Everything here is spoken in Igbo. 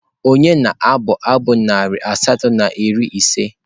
Ònye na-abụ abụ narị asatọ na iri ise?